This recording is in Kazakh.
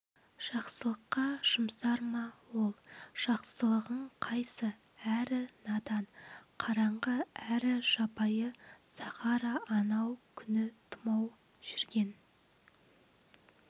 жақсылыққа жұмсар ма ол жақсылығың қайсы әрі надан қараңғы әрі жабайы сахара анау күні тумай жүрген